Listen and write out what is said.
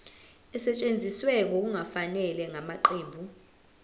esetshenziswe ngokungafanele ngamaqembu